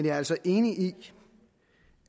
er altså enig i